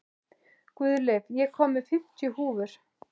Guðleif, ég kom með fimmtíu húfur!